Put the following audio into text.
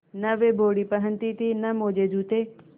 न वे बॉडी पहनती थी न मोजेजूते